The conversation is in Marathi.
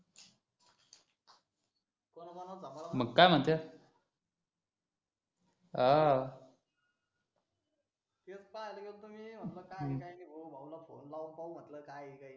मग काय म्हणतं अह तेच पाह्यले गेल्तो मी म्हटलं काय आहे काय नि भो भाऊ ला फोने लावून पाहू म्हटलं काय ये काय नि